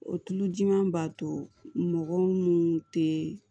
O tulo jiminɛn b'a to mɔgɔ munnu tɛ